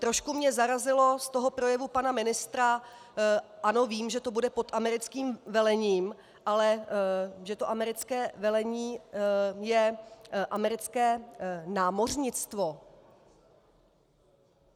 Trošku mě zarazilo z toho projevu pana ministra - ano vím, že to bude pod americkým velením - ale že to americké velení je americké námořnictvo!